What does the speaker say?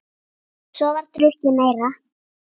Svo var drukkið meira.